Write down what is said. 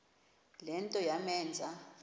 le nto yamenza